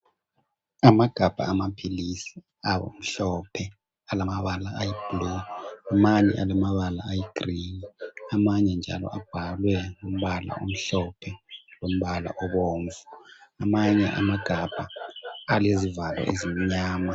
Amagabha amaphilisi amhlophe alamabala ayiblu, amanye alamabala ayigrini, amanye njalo abhalwe ngombala omhlophe lombala obomvu. Amanye amagabha alezivalo ezimnyama.